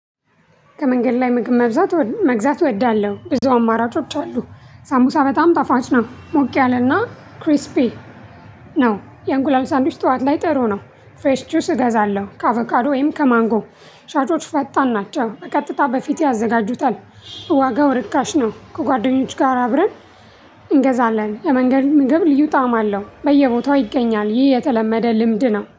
ከመንገድ ላይ ምግብ መብዛት መግዛት እወዳለሁ። ብዙ አማራጮች አሉ፣ ሳቡሳ በጣም ጣፋጭ ነው ሞቅ ያለና ክሪስፒ ነው። የእንቁላል ሳንዱች ጠዋት ላይ ጥሩ ነው። ፍሬሽ ጁስ እገዛለሁ። ከአቫካዶ ወይም ከማንጎ ሻጮች ፈጣን ናቸው ቀጥታ በፊቴ ያዘጋጁታል። ዋጋው ርካሽ ነው። ከጓደኞች ጋር አብረን እንገዛለን። የመንገድ መግብ ልዩ ጣዕም አለው። በየቦታው ይገኛል ይህ የተለመደ ልምድ ነው።